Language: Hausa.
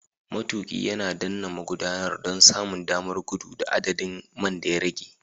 Matuƙi ya danna magudanar don samun damar gudu da adadin man da ya rage.